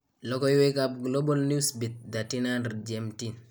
Lokoyweekab Global Newsbeat 1300 GMT